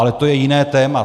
Ale to je jiné téma.